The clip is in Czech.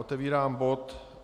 Otevírám bod